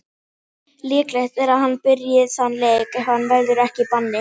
Líklegt er að hann byrji þann leik ef hann verður ekki í banni.